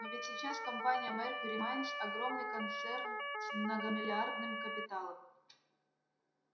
но ведь сейчас компания меркюри майнз огромный концерн с многомиллиардным капиталом